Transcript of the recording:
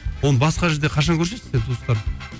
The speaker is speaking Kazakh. оны басқа жерде қашан көрсетесің сен туыстарыңды